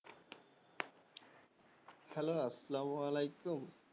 Hello আসেল্লাম ওয়ালেকুম